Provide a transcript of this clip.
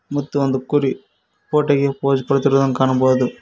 ಮುತ್ತು ಒಂದು ಕುರಿ ಫೋಟೋ ಗೆ ಪೋಸ್ ಕೊಡುತ್ತಿರುವುದನ್ನು ಕಾಣಬಹುದು.